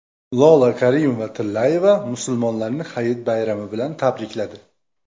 Lola Karimova-Tillayeva musulmonlarni Hayit bayrami bilan tabrikladi.